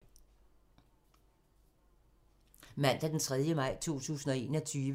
Mandag d. 3. maj 2021